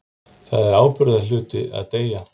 Það er ábyrgðarhluti að deyja.